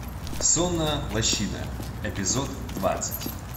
сонная лощина эпизод двадцать